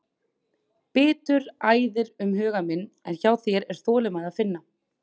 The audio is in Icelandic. Biturð æðir um huga minn en hjá þér er þolinmæði að finna.